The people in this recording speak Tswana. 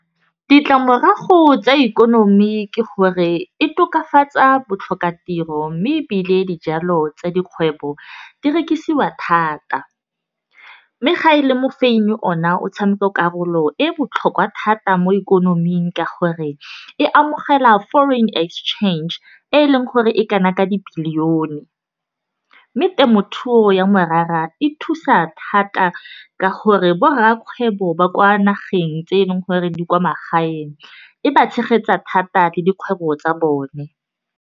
Ditlamorago tsa ikonomi ke gore e tokafatsa botlhokatiro. Mme ebile dijalo tsa dikgwebo di rekisiwa thata. Mme ga e le mofenyi ona o tshameka karolo e botlhokwa thata mo ikonoming. Ka gore e amogela foreign exchange e leng gore e kana ka dibilione. Mme temothuo ya morara e thusa thata ka gore bo rra kgwebo ba kwa nageng tse e leng gore di kwa magaeng, e ba tshegetsa thata le dikgwebo tsa bone.